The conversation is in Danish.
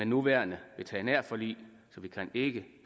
nuværende veterinærforlig så vi kan ikke